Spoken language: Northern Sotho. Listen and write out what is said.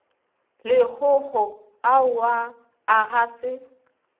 lekgokgo aowa a ga se